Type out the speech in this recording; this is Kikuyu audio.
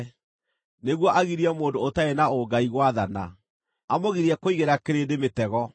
nĩguo agirie mũndũ ũtarĩ na ũngai gwathana, amũgirie kũigĩra kĩrĩndĩ mĩtego.